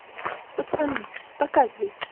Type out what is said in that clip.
пацаны показывай